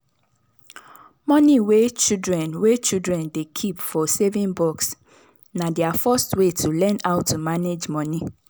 money wey children wey children dey keep for saving box na their first way to learn how to manage money.